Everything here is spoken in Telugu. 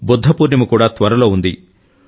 బుద్ధ పూర్ణిమ కూడా త్వరలో ఉంది